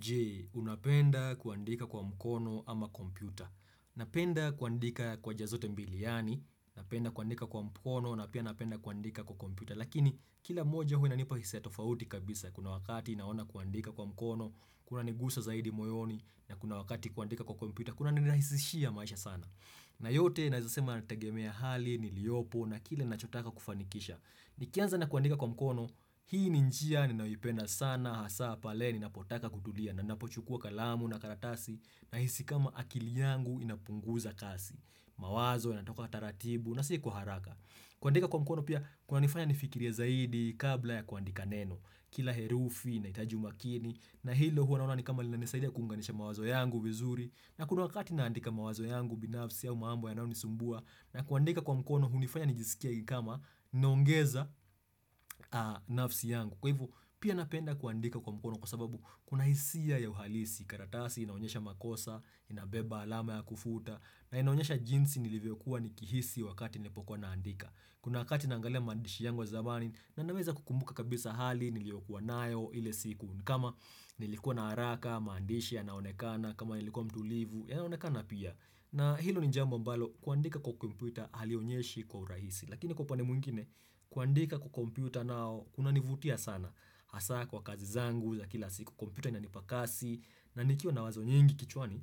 Jee, unapenda kuandika kwa mkono ama kompyuta. Napenda kuandika kwa njia zote mbili yani, napenda kuandika kwa mkono, napia napenda kuandika kwa kompyuta. Lakini, kila moja huwa inanipa hisia tofauti kabisa. Kuna wakati naona kuandika kwa mkono, kuna nigusa zaidi moyoni, na kuna wakati kuandika kwa kompyuta, kuna nirahisishia maisha sana. Na yote, nazasema nategemea hali, niliopo, na kile nachotaka kufanikisha. Nikianza na kuandika kwa mkono hii ni njia ninayoipenda sana hasa pale nina potaka kutulia na napochukua kalamu na karatasi na hisi kama akili yangu inapunguza kasi mawazo ya natoka taratibu na siku haraka kuandika kwa mkono pia kuna nifanya nifikirie ya zaidi kabla ya kuandika neno kila herufi initahuji umakini na hilo huwa naona nikama linanisaidia kuunganisha mawazo yangu vizuri na kuna wakati naandika mawazo yangu binafsi ya mambo yanao nisumbua na kuandika kwa mkono hunifanya nijisikie kama naongeza nafsi yangu. Kwa hivu pia napenda kuandika kwa mkono kwa sababu kuna hisia ya uhalisi. Karatasi inaonyesha makosa, inabeba alama ya kufuta na inaonyesha jinsi nilivyokuwa nikihisi wakati nilipokuwa naandika. Kuna wakati nangalea maandishi yangu wa zamani, na naweza kukumbuka kabisa hali niliyokuwa nayo ile siku, ni kama nilikua na haraka, mandishi ya naonekana, kama nilikua mtulivu ya naonekana pia. Na hilo ni jambo ambalo kuandika kwa kompuita halionyeshi kwa urahisi. Lakini kwa upande mwngine, kuandika kwa kompyota nao, kunanivutia sana. Asa kwa kazi zangu, za kila siku kompuita inanipakasi, na nikiwa na wazo nyingi kichwani,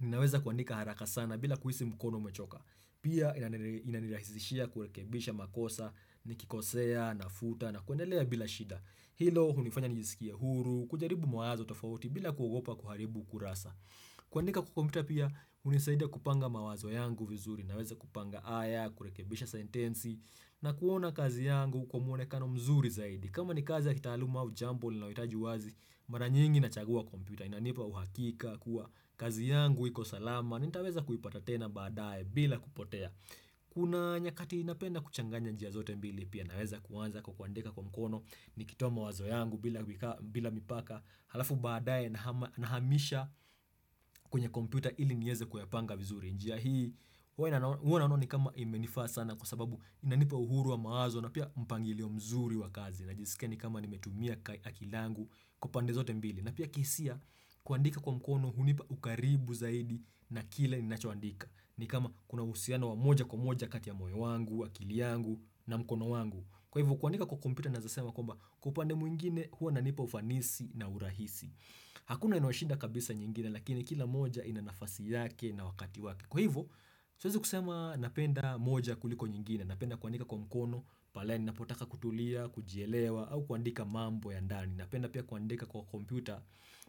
ninaweza kuandika haraka sana bila kuhisi mkono umechoka. Pia inani inanirahizishia kurekebisha makosa, nikikosea, nafuta na kuendelea bila shida. Hilo hunifanya nijisikie huru, kujaribu mawazo tofauti bila kuogopa kuharibu kurasa. Kuandika kompyuta pia, unisaidia kupanga mawazo yangu vizuri naweza kupanga aya, kurekebisha sentensi na kuona kazi yangu kwa mwonekano mzuri zaidi. Kama ni kazi ya kitahaluma au jambo, linawitaji wazi, mara nyingi na chagua kompita. Inanipa uhakika kuwa kazi yangu, iko salama, na nitaweza kuipata tena baadaye bila kupotea. Kuna nyakati inapenda kuchanganya njia zote mbili, pia naweza kuwanza kukwandeka kwa mkono, nikitoa mawazo yangu bila mipaka, halafu baadaye naha nahamisha kwenye komputaa ili nieze kuyapanga vizuri. Njia hii, huwa ina huwana naona ni kama imenifaa sana kwa sababu inanipa uhuru wa mawazo na pia mpangilio mzuri wa kazi. Najisika ni kama nimetumia akila angu kupande zote mbili na pia kihisia kuandika kwa mkono hunipa ukaribu zaidi na kile ni nachoandika ni kama kuna uhusianao wa moja kwa moja kati ya moyo wangu, akili yangu na mkono wangu Kwa hivo kuandika kwa kompyuta nawezasema kwamba kwa upande mwingine huo unanipa ufanisi na urahisi Hakuna inoashinda kabisa nyingine lakini kila moja ina nafasi yake na wakati wake Kwa hivo siwezi kusema napenda moja kuliko nyingine napenda kuandika kwa mkono, pale ni napotaka kutulia, kujielewa, au kuandika mambo ya ndani. Ni napenda pia kuandika kwa kompyuta,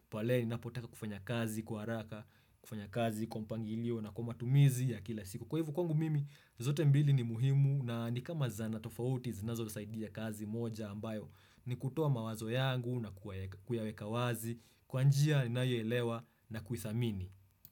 pale ni napotaka kufanya kazi, kwa haraka, kufanya kazi, kwa mpangilio na kwa matumizi ya kila siku. Kwa hivo kwangu mimi, zote mbili ni muhimu na nikama zanaa tofauti, zinazo saidi ya kazi moja ambayo. Ni kutua mawazo yangu na kuyaweka wazi, kwa njia ni ninayoelewa na kuithamini.